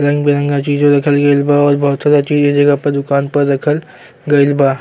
रंग बिरंगा चीझ रखल गईल बा और बहुत सारा चीझ दुकान प रखल गईल बा।